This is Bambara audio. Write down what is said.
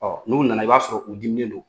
n'u nana, i b'a sɔrɔ u diminen don.